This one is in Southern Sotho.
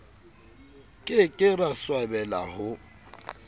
ke ke ra swabela ho